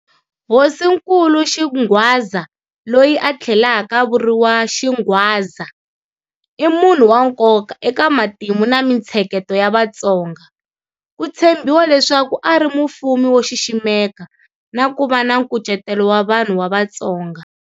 Hosinkulu Xingwadza, loyi a tlhelaka a vuriwa Shingwadza, i munhu wa nkoka eka matimu na mintsheketo ya Vatsonga. Ku tshembiwa leswaku a ri mufumi wo xiximeka na ku va na nkucetelo wa vanhu va Vatsonga.